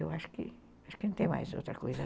Eu acho que não tem mais outra coisa.